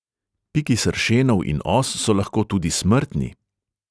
Piki sršenov in os so lahko tudi smrtni.